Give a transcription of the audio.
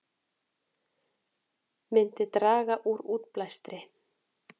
Myndi draga úr útblæstri